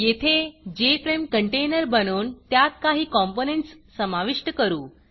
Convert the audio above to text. येथे JFRME container बनवून त्यात काही कॉम्पोनंटस समाविष्ट करू